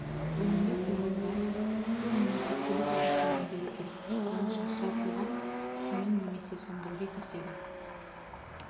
өнімді қорғауға су немесе көбік ағыстарын беру керек және шашыратылған сумен немесе сөндіруге кіріседі